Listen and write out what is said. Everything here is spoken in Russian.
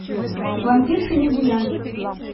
вампирши лесбиянки